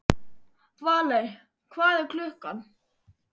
Valey, hvað er klukkan?